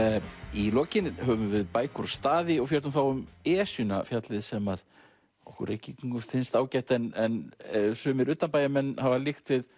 í lokin höfum við bækur og staði og fjöllum þá um Esjuna fjallið sem okkur Reykvíkingum finnst ágætt en sumir utanbæjarmenn hafa líkt við